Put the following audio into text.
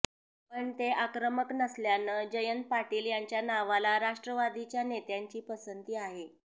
पण ते आक्रमक नसल्यानं जयंत पाटील यांच्या नावाला राष्ट्रवादीच्या नेत्यांची पसंती आहे